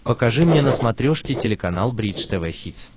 покажи мне на смотрешке телеканал бридж тв хитс